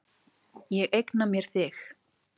Ég eigna mér þig.